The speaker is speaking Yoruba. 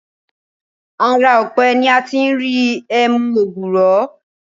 Ara ọ̀pẹ ni a ti ń ri ẹmu ògbùrọ̀